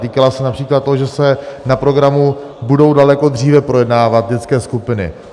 Týkala se například toho, že se na programu budou daleko dříve projednávat dětské skupiny.